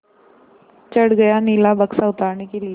चढ़ गया नीला बक्सा उतारने के लिए